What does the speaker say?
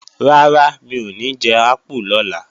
Rárá, mi ò ní jẹ ápù lọ́la